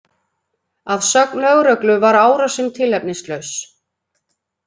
Að sögn lögreglu var árásin tilefnislaus